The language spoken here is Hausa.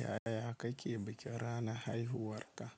Yaya kake bikin ranar haihuwarka?